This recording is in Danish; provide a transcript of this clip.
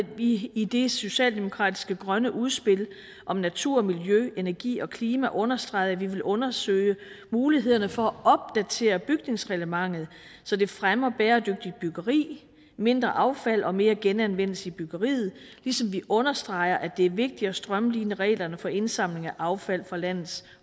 vi i det socialdemokratiske grønne udspil om natur og miljø energi og klima understreget at vi vil undersøge mulighederne for at opdatere bygningsreglementet så det fremmer bæredygtigt byggeri og mindre affald og mere genanvendelse i byggeriet ligesom vi understreger at det er vigtigt at strømline reglerne for indsamling af affald fra landets